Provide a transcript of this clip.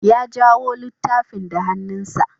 Ya jawo littafin da hannunsa.